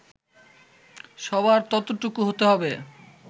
সবার ততটুকু হতে হবে